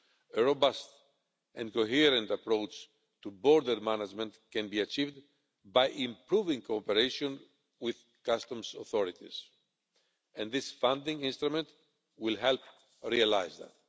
A robust and coherent approach to border management can be achieved by improving cooperation with customs authorities, and this funding instrument will help realise that.